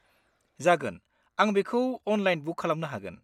जागोन, आं बेखौ अनलाइन बुक खालामनो हागोन।